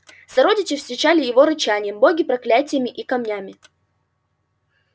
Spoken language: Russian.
сородичи встречали его рычанием боги проклятиями и камнями